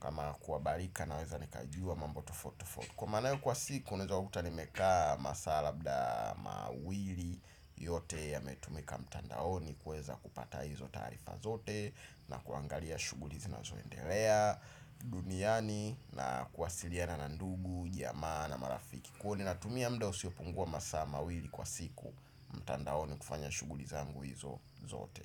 Kama kwabarika naweza nikajua mambo tofot tofot. Kwa manayo kwa siku unweza kuta nimekaa masaa labda mawili, yote yametumika mtandaoni kweza kupata hizo taarifa zote na kuangalia shughuli zinazonendelea duniani na kuwasiliana na ndugu, jamaa na marafiki. Kwo ninatumia muda usiopungua masaa mawili kwa siku. Mtandaoni kufanya shughuli zangu hizo zote.